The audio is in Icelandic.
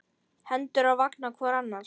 Hendur á vanga hvor annars.